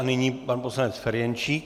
A nyní pan poslanec Ferjenčík.